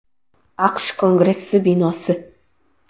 AQSh Kongressi binosi.